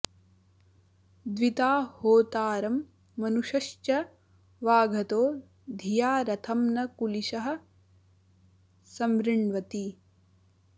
द्विता होतारं मनुषश्च वाघतो धिया रथं न कुलिशः समृण्वति